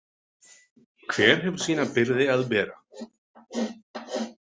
Hver hefur sína byrði að bera.